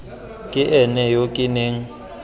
ke ene yo ke neng